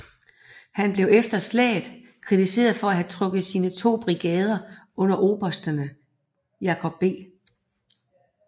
Han blev efter slaget kritiseret for at have trukket sine to brigader under obersterne Jacob B